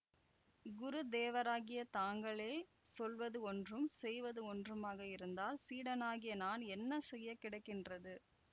குருதேவராகிய தாங்களே சொல்வது ஒன்றும் செய்வது ஒன்றுமாக இருந்தால் சீடனாகிய நான் என்ன செய்ய கிடக்கின்றது